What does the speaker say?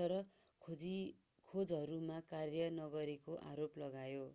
तर खोजहरूमा कार्य नगरेको आरोप लगायो